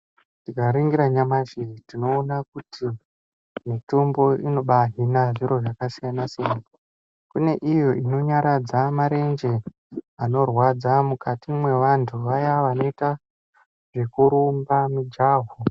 Tikaringira nyamashi tinoona kuti mitombo inoba hina zviro zvakasiyana siyana kune iyo inonyaradza marenje anorwadza mukati mevandu vaya vanoita zvekurumba mujaho